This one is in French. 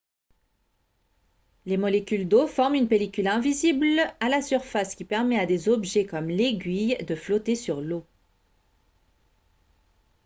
les molécules d'eau forment une pellicule invisible à la surface qui permet à des objets comme l'aiguille de flotter sur l'eau